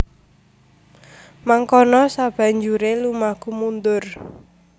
Mangkono sabanjure lumaku mundur